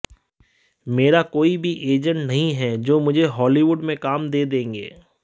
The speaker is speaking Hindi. मेरा कोई भी एजेंट नहीं है जो मुझे हॉलीवुड में काम दे देंगे